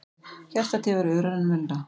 Hjartað tifar örar en venjulega.